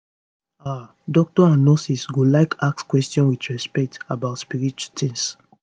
ah doctors and nurses go like ask questions with respect about spirit tings